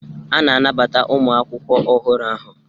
A na-anabata ụmụ akwụkwọ ọhụrụ ahụ.